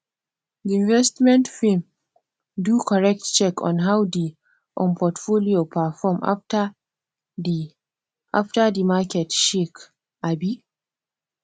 di investment firm do correct check on how di um portfolio perform after di after di market shake um